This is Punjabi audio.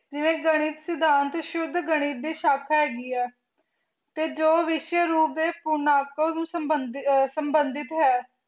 ਜਿਵੇ ਗਣਿਤ ਸਿਧਾਂਤ ਸ਼ੁਧ ਗਣਿਤ ਦੀ ਸ਼ਾਖਾ ਹੇਗੀ ਆ ਕੇ ਜੋ ਵਿਹ੍ਸਾਯ ਰੂਪ ਦੇ ਕੁਮਾਕੋ ਸੰਭੰਦਿਤ ਹੈ